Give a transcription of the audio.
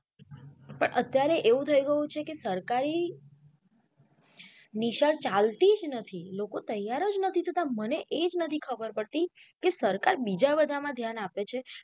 પણ અત્યારે એવું થઇ ગયું છેકે સરકારી નિશાળ ચાલતી જ નથી લોકો તૈયાર જ નથી થતા મને એજ નથી ખબર પડતી કે સરકાર બીજા બધા માં ધ્યાન આપે છે.